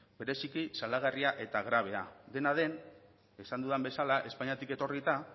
bereziki salagarria eta grabea dena den esan dudan bezala espainiatik etorrita